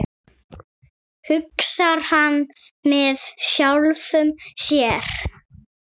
hugsar hann með sjálfum sér.